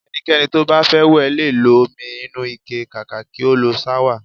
Ẹnikẹ́ni to bá fẹ́ wẹ̀ lè lo omi inúu ike kàkà kí ó lo ṣáwà